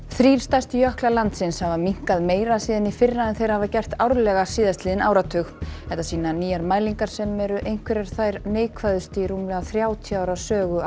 þrír stærstu jöklar landsins hafa minnkað meira síðan í fyrra en þeir hafa gert árlega síðastliðinn áratug þetta sýna nýjar mælingar sem eru einhverjar þær neikvæðustu í rúmlega þrjátíu ára sögu